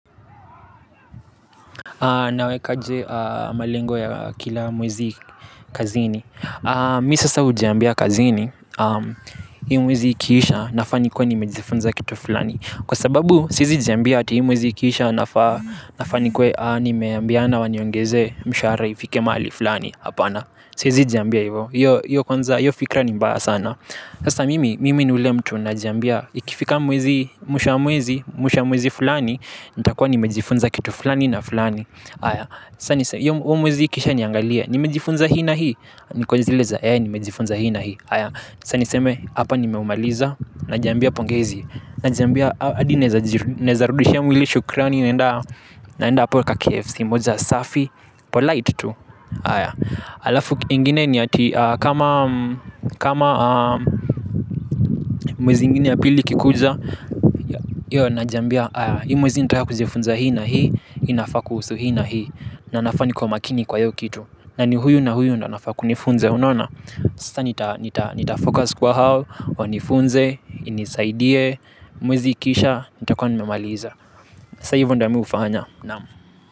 Nawekaje malengo ya kila mwezi kazini. Mimi sasa hujiambia kazini. Hii mwezi ikiisha nafaa nikuwe nimejifunza kitu fulani. Kwa sababu siwezi jiambia hati hii mwezi ikiisha nafaa nafaa nikuwe nimeambiana waniongeze mshahara ifike mahali fulani hapana. Siwezi jiambia hivyo hiyo fikra ni mbaya sana. Sasa mimi ni yule mtu najiambia ikifika mwezi, mwisho wa mwezi, mwisho wa mwezi fulani, nitakuwa nimejifunza kitu fulani na fulani. Haya, huo mwezi ikiisha niangalia, nimejifunza hii na hii, niko zilez a, yae nimejifunza hii na hii. Haya, sasa niseme, hapa nimeumaliza, najiambia pongezi, najiambia, hadi naweza rudishia mwili shukrani, naenda hapo kaKFC, moja safi, polite tu. Alafu ingine ni hati kama mwezi ingine ya pili ikikuja hiyo najiambia. Hii mwezi nitaka kujifunza hii na hii. Inafaa kusuhu hii na hii na nafaa nikuwe makini kwa hiyo kitu na ni huyu na huyu ndio anafaa kunifunza unona. Sasa nitafocus kwa hao. Wanifunze, inisaidie. Mwezi ikiisha, nitakuwa nimemaliza. Sasa hivyo ndio mimi hufanya. Naam.